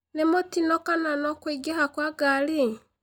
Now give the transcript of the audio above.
nĩ mũtino kana no kũingĩha kwa ngari